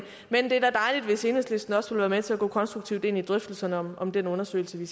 men det er da dejligt hvis enhedslisten også vil være med til at gå konstruktivt ind i drøftelserne om om den undersøgelse vi